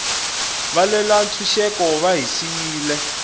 valwela ntshuxeko va hi siyile